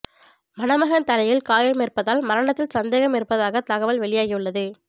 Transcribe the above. மணமகன் தலையில் காயம் இருப்பதால் மரணத்தில் சந்தேகம் இருப்பதாக தகவல் வெளியாகியுள்ளது